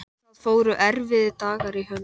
Það fóru erfiðir dagar í hönd.